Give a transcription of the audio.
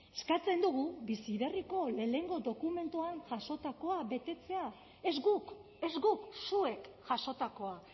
eskatzen dugu bizi berriko lehenengo dokumentuan jasotakoa betetzea ez guk ez guk zuek jasotakoa